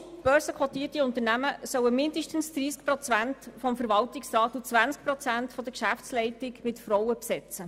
Grosse börsenkotierte Unternehmen sollen mindestens 30 Prozent des Verwaltungsrats und 20 Prozent der Geschäftsleitung durch Frauen besetzen.